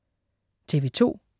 TV2: